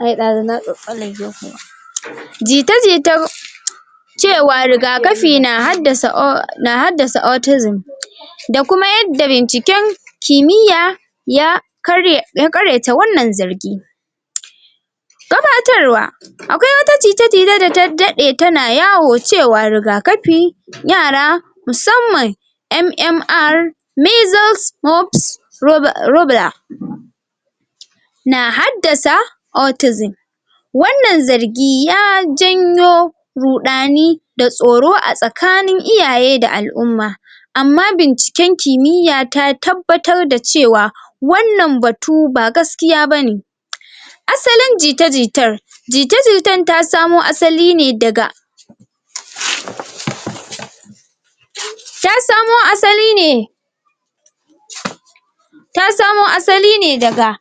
Ai dazun na tsatstsallake kuwa. Jita jitar cewa rigakafi na had na haddasa autism da kuma yadda binciken kimiyya ya karye ya ƙaryata wannan zargi. Gabatarwa akwai wata jita jita da ta dade tana yawo cewa rigakafin yara musamman MMR measles moops na haddasa autism wannan zargi ya janyo ruɗani da tsoro a tsakanin iyaye da al'umma amma binciken kimiyya ta tabbatar da cewa wannan batu ba gaskiya bane. Asalin jita jitar, jita jitar ta samo asali ne daga ta samo asali ne ta samo asali ne daga